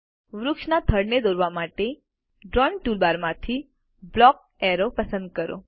વૃક્ષના થડને દોરવા માટે ડ્રાઇંગ ટૂલબાર માંથી બ્લોક એરોઝ પસંદ કરો